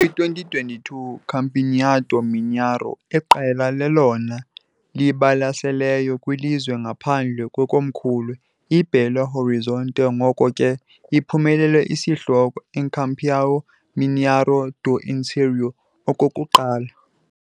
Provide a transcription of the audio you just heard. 2022 Campeonato Mineiro, iqela lelona libalaseleyo kwilizwe ngaphandle kwekomkhulu, i-Belo Horizonte, ngoko ke iphumelele isihloko "Campeão Mineiro do Interior" okokuqala.